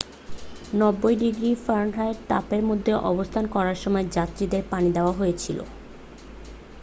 90 degree ফা তাপের মধ্যে অবস্থান করার সময় যাত্রীদের পানি দেয়া হয়েছিল।